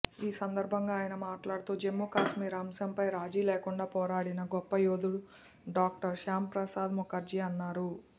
ఈ సందర్భంగా ఆయన మాట్లాడుతూ జమ్ముకాశ్మీర్ అంశంపై రాజీలేకుండా పోరాడిన గొప్ప యోధుడు డాక్టర్ శ్యాంప్రసాద్ ముఖర్జీ అన్నారు